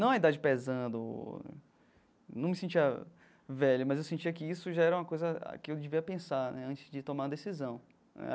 Não a idade pesando, num me sentia velho, mas eu sentia que isso já era uma coisa que eu devia pensar né antes de tomar a decisão.